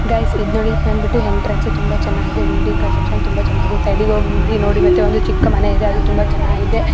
Guys ಇದು ನೋಡಿ ಬಂದ್ಬಿಟ್ಟು ಎಂಟ್ರನ್ಸ್ ತುಂಬಾ ಚೆನ್ನಾಗಿದೆ ಬಿಲ್ಡಿಂಗ್ ಕನ್ಸ್ಟ್ರಕ್ಷನ್ ತುಂಬಾ ಚೆನ್ನಾಗಿದೆ ಸೈಡಿಗೆ ಹೋಗಿ ನೋಡಿ ಒಂದು ಚಿಕ್ಕ ಮನೆ ಇದೆ ಅದು ತುಂಬಾ ಚೆನ್ನಾಗಿದೆ .